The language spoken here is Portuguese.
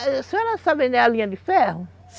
A senhora sabe onde é a linha de ferro?